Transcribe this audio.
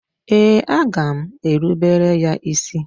Ee, aga m erubere ya isi.